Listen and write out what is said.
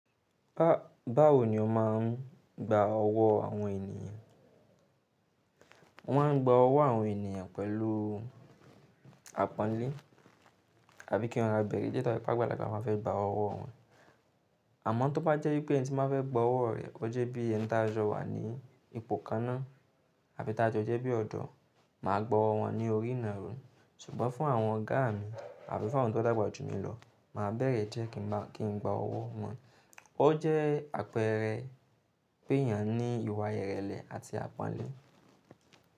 Ba, báwo ni o máa ń gba ọwọ́ àwọn ènìyàn? Mo máa ń gba ọwọ́ àwọn ènìyàn pẹ̀lú àpọ́nlé àbí kí wọ́n má bẹ̀rẹ̀ jẹ́ tó bá gbàgbá láti máa fẹ́ gba ọwọ́ wọn. Àmọ́ tó bá jẹ́ pé ẹni tí máa fẹ́ gba ọwọ́ rẹ̀ ó jẹ́ bí ẹni tó a jọ wà ní ipò kan náà àbí tó a jẹ́ bí ọ̀dọ́, màá gba ọwọ́ wọn ní orí ìnárò. Ṣùgbọ́n fún àwọn ọ̀gá mi àbí fún àwọn tó dàgbà jù mí lọ, màá bẹ̀rẹ̀ jẹ́ kí n má, kí n gba ọwọ́ wọn. Ó jẹ́ àpẹẹrẹ pé èèyàn ní ìwà ìrẹ̀lẹ̀ àti àpọ́nlé.